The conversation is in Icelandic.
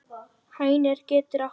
Hænir getur átt við